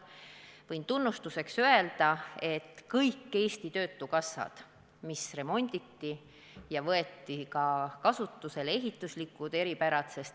Võin tunnustuseks öelda, et kõik Eesti töötukassad remonditi ja võeti kasutusele ehituslikud eripärad.